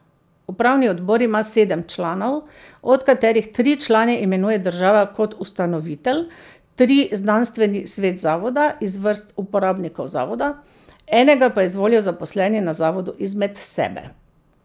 Upravni odbor ima sedem članov, od katerih tri člane imenuje država kot ustanovitelj, tri znanstveni svet zavoda iz vrst uporabnikov zavoda, enega pa izvolijo zaposleni na zavodu izmed sebe.